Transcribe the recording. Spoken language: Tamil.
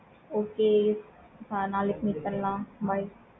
okay நாளைக்கு meet பண்ணலாம். bye